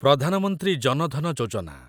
Pradhan Mantri Jan Dhan Yojana